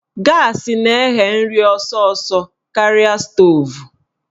Gaasị na-eghe nri ọsọsọ karịa stoovu